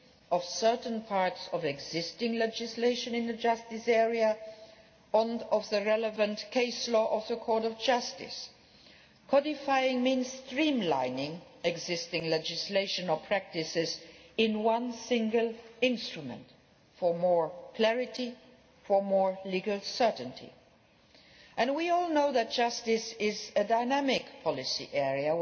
of certain parts of existing legislation in the justice area and of the relevant case law of the Court of Justice. Codifying means streamlining existing legislation or practices into one single instrument for more clarity and for more legal certainty. And we all know that justice is a dynamic policy